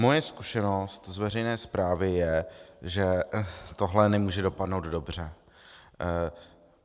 Moje zkušenost z veřejné správy je, že tohle nemůže dopadnout dobře.